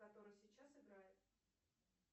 который сейчас играет